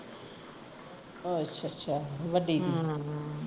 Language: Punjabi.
ਅੱਛਾ ਅੱਛਾ ਵੱਡੀ ਦੀ ਹਮ